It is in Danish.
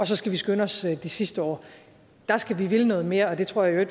så skal skynde os de sidste år der skal vi ville noget mere og det tror jeg i